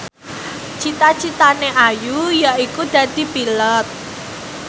cita citane Ayu yaiku dadi Pilot